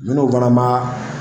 Munnu fana b'a